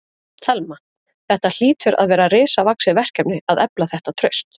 Telma: Þetta hlýtur að vera risavaxið verkefni að efla þetta traust?